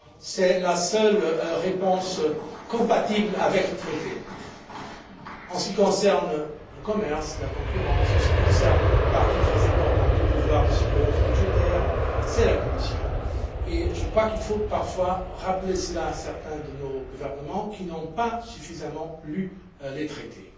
C'est la seule réponse compatible avec le Traité. En ce qui concerne le commerce, la concurrence, en ce qui concerne une partie très importante des pouvoirs de surveillance budgétaire, c'est la Commission et je crois qu'il faut parfois rappeler cela à certains de nos gouvernements qui n'ont pas suffisamment lu les Traités.